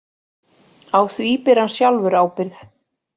Á því beri hann sjálfur ábyrgð